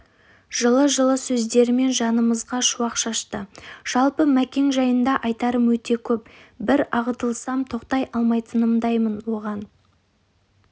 жылы-жылы сөздерімен жанымызға шуақ шашты жалпы мәкең жайында айтарым өте көп бір ағытылсам тоқтай алмайтындаймын оған